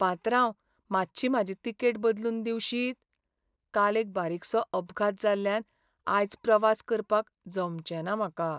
पात्रांव, मातशी म्हाजी तिकेट बदलून दिवशीत? काल एक बारीकसो अपघात जाल्ल्यान आयज प्रवास करपाक जमचें ना म्हाका.